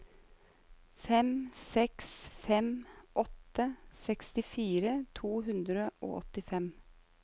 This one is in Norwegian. fem seks fem åtte sekstifire to hundre og åttifem